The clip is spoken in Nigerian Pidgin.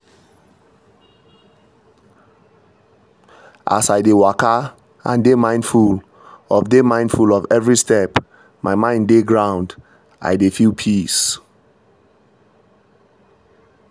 as i dey waka and dey mindful of dey mindful of every step my mind dey ground — i dey feel peace.